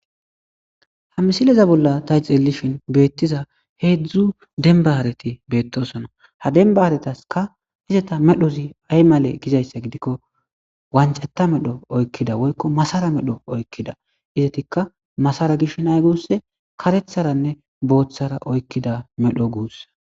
Ha misileza bolla tayxellishin beettiza heedzdzu denbaareti beettosona ha dembaaaretaska izeta medhozi aymale gizayssa gidikko wancetta medho oykkida woykko masara medho oykkida izatikka masara gish nay gus karetharanne booththara oykkida medho guussa.